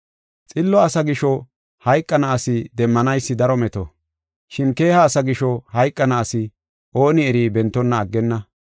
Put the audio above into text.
Xillo asa gisho hayqana asi demmanaysi daro meto, shin keeha asa gisho hayqana asi ooni eri bentonna aggenna.